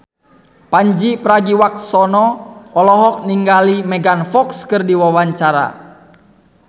Pandji Pragiwaksono olohok ningali Megan Fox keur diwawancara